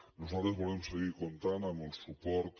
nosaltres volem seguir comptant amb el suport